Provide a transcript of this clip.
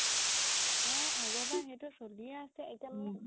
অ আগৰ পাই সেইটো চলিয়ে আছে এতিয়া মই